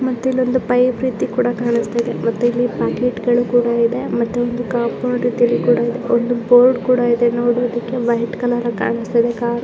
ಮತ್ತೆ ಇಲ್ಲೊಂದು ಪೈಪ್ ರೀತಿ ಕೂಡ ಕಾಣಿಸ್ತಾ ಇದೆ ಇಲ್ಲಿ ಪ್ಯಾಕಿಟ್ಗಳು ಕೂಡ ಇದೆ ಬೋರ್ಡ್ ಕೂಡ ಇದೆ ನೋಡಿ ಬೇಕಿದ್ರೆ ವೈಟ್ ಕಲರಲ್ಲಿದೆ ಕಾರು --